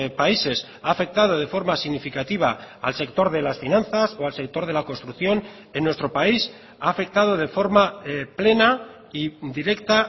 países ha afectado de forma significativa al sector de las finanzas o al sector de la construcción en nuestro país ha afectado de forma plena y directa